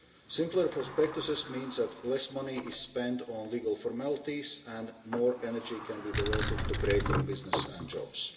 Simpler prospectuses means that less money is spent on legal formalities and more energy can be diverted to creating businesses and jobs.